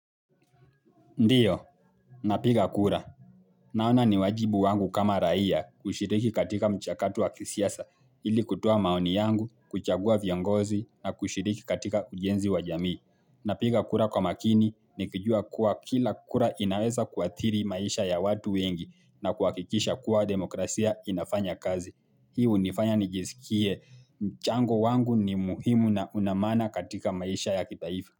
Ndio, napiga kura. Naona ni wajibu wangu kama raia kushiriki katika mchakatu wa kisiasa ili kutoa maoni yangu, kuchagua viongozi na kushiriki katika ujenzi wa jamii. Napiga kura kwa makini nikijua kuwa kila kura inaweza kuathiri maisha ya watu wengi na kuwakikisha kuwa demokrasia inafanya kazi. Hii nifanya nijsikie. Mchango wangu ni muhimu na una maana katika maisha ya kitaifa.